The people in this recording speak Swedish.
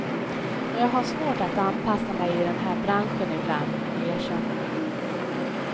Men jag har svårt att anpassa mig i den här branschen ibland, erkänner hon.